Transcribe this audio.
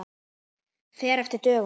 Fer eftir dögum.